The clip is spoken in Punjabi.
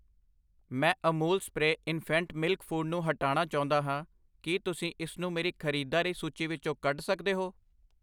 ਮੈਂ Amul spray infant milk food ਨੂੰ ਹਟਾਣਾ ਚਾਹੁੰਦਾ ਹਾਂ, ਕੀ ਤੁਸੀਂ ਇਸਨੂੰ ਮੇਰੀ ਖਰੀਦਦਾਰੀ ਸੂਚੀ ਵਿੱਚੋਂ ਕੱਢ ਸਕਦੇ ਹੋ?